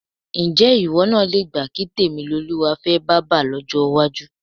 Ǹjé̩ ìwó̩ náà le gbà kí Tèmilolúwa fé̩ bábà ló̩jó̩ iwájú?